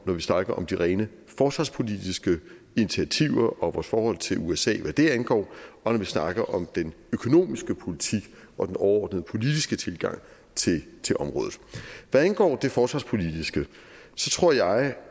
når vi snakker om de rene forsvarspolitiske initiativer og vores forhold til usa hvad det angår og når vi snakker om den økonomiske politik og den overordnede politiske tilgang til til området hvad angår det forsvarspolitiske tror jeg